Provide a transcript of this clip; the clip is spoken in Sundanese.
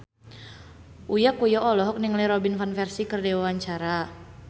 Uya Kuya olohok ningali Robin Van Persie keur diwawancara